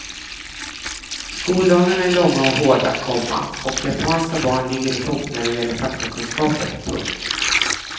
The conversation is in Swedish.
Skoldagarna är långa och hårda, komma och japanska barn ligger i topp när det gäller faktakunskaper. punkt